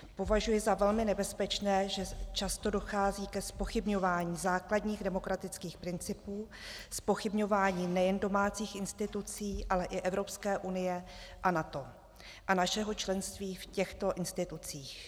Považuji za velmi nebezpečné, že často dochází ke zpochybňování základních demokratických principů, zpochybňování nejen domácích institucí, ale i Evropské unie a NATO a našeho členství v těchto institucích.